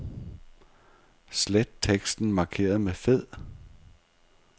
Slet teksten markeret med fed.